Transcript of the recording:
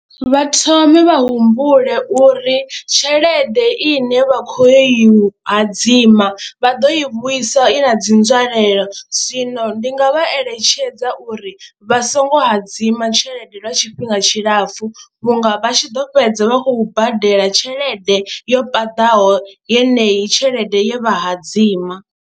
Vha thome vha humbule uri tshelede ine vha khou yo i u hadzima vha ḓo i vhuisa i na dzi nzwalelo zwino ndi nga vha eletshedza uri vha songo hadzima tshelede lwa tshifhinga tshilapfhu vhunga vha tshi ḓo fhedza vha khou badela tshelede yo paḓaho yeneyi tshelede ye vha hadzima,